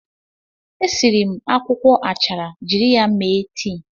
E siri m akwụkwọ achara jiri ya mee tii.